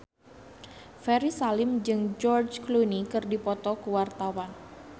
Ferry Salim jeung George Clooney keur dipoto ku wartawan